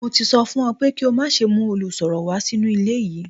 Mo ti sọ fún ọ pé kí o má ṣe mú olùsọ̀rọ̀ wá sínú ilé yìí